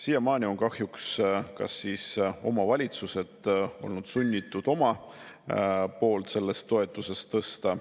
Siiamaani on kahjuks omavalitsused olnud sunnitud oma poolt sellest toetusest tõstma.